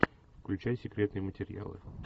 включай секретные материалы